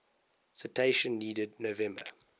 citation needed november